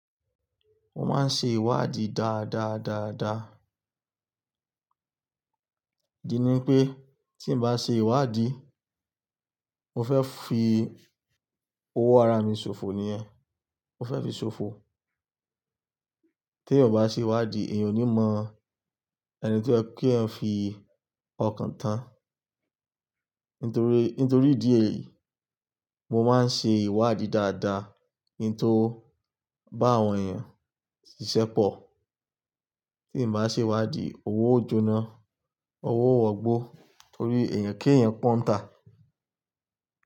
Mo máa ń ṣe ìwádìí dáadáa, dáadáa. iDi ní pé tí n bá ṣe ìwádìí, mo fẹ́ fi owó ara mi ṣòfò ni yẹ́, mo fẹ́ fi ṣòfò. Tí èèyàn ò bá ṣe ìwádìí èèyàn ò ní mọ ẹni tí ẹ kí ẹ fi ọkàn tán. Nítorí, nítorí ìdí èyí, mo máa ń ṣe ìwádìí dáadáa, kí n tó bá àwọn èèyàn ṣiṣẹ́ pọ̀. Tí n bá ṣe ìwádìí, owó ó jóná, owó ó wọ́ gbó torí èèyàn ké èèyàn pọ́n tán.